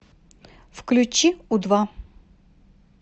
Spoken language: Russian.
включи у два